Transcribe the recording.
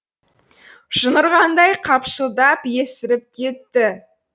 жын ұрғандай қапшылдап есіріп кетті